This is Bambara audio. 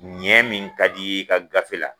Ɲɛ min ka di' i ye i ka gafe la